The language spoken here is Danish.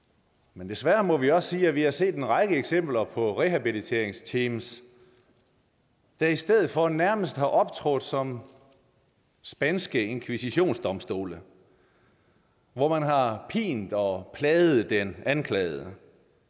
men desværre må vi også sige at vi har set en række eksempler på rehabiliteringsteams der i stedet for nærmest har optrådt som spanske inkvisitionsdomstole hvor man har pint og plaget den anklagede